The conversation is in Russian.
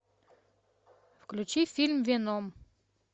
включи фильм веном